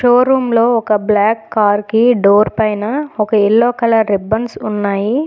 Show room లో ఒక black car కి డోర్ పైన ఒక యెల్లో కలర్ రిబ్బన్స్ ఉన్నాయి.